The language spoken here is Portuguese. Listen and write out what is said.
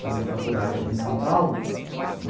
Fazia faculdade aqui em São Paulo né.